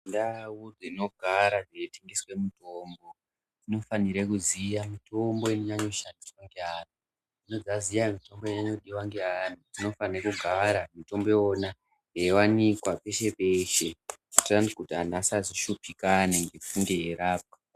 Ndau dzinogara dzeitengeswe mutombo dzinofanire kuziya mitombo inonyanye kushandiswe ngeantu dzisati dzaziya mitombo inodiwe ngeanhu dzinofane kugara mitombo yeiwanikwa peshe peshe kuitira kuti vantu vasnge veishupikana